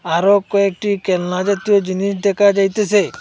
আরো কয়েকটি কেলনা জাতীয় জিনিস দেকা যাইতেসে।